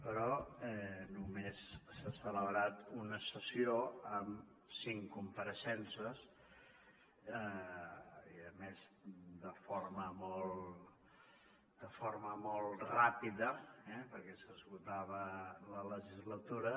però només s’ha celebrat una sessió amb cinc compareixences i a més de forma molt ràpida eh perquè s’esgotava la legislatura